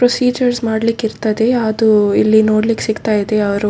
procedures ಮಾಡ್ಲಿಕ್ಕೆ ಇರ್ತದೆ ಅದು ಇಲ್ಲಿ ನೋಡ್ಲಿಕ್ಕೆ ಸಿಗ್ತಾ ಇದೆ ಅವ್ರು --